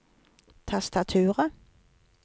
tastaturet